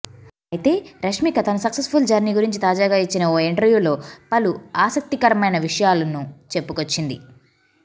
అయితే రష్మిక తన successful journey గురించి తాజాగా ఇచ్చిన ఓ ఇంటర్వ్యూలో పలు ఆసక్తికరమైన విషయాలను చెప్పుకొచ్చింది